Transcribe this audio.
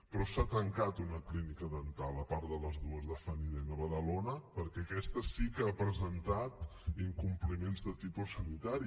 però s’ha tancat una clínica dental a part de les dues de funnydent a badalona perquè aquesta sí que ha presentat incompliments de tipus sanitari